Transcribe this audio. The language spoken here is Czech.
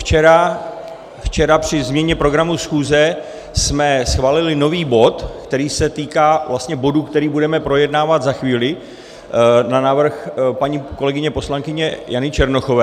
Včera při změně programu schůze jsme schválili nový bod, který se týká vlastně bodu, který budeme projednávat za chvíli na návrh paní kolegyně poslankyně Jany Černochové.